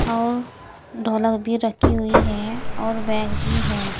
और ढोलक भी रखी हुई है और बैग भी है।